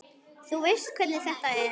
Þú veist hvernig þetta er.